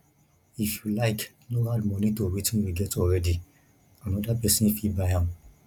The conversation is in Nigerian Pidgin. if you like no add money to wetin you get already another person fit buy am